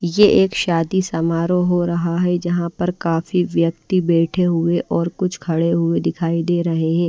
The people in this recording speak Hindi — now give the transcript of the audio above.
यह एक शादी समारोह हो रहा है जहां पर काफी व्यक्ति बैठे हुए और कुछ खड़े हुए दिखाई दे रहे हैं।